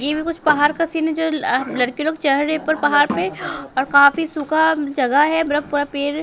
ये भी कुछ पहाड़ का सीन है जो लड़के लोग चहरे पर पहाड़ पे और काफी सूखा जगह है मतलब पूरा पेर --